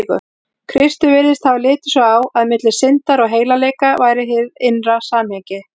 Kristur virðist hafa litið svo á, að milli syndar og heilagleika væri innra samhengi.